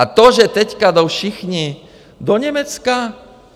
A to, že teď jdou všichni do Německa?